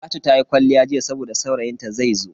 Talatu ta yi kwalliya jiya saboda saurayin ta zaizo.